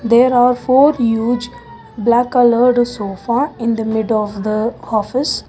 There are four huge black coloured sofa in the middle of the office.